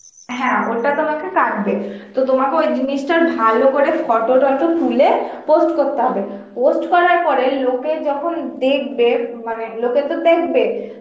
হ্যাঁ ওটা তোমাকে কাটবে, তো তোমাকে ওই জিনিসটার ভালো করে photo টটো তুলে post করতে হবে, post করার পরে লোকে যখন দেখবে মানে লোকে তো দেখবে